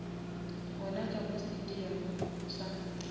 gona ka mo stadium sa